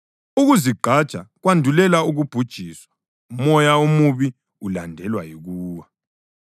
Ukuzigqaja kwandulela ukubhujiswa, umoya omubi ulandelwa yikuwa.